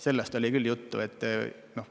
Sellest oli küll juttu.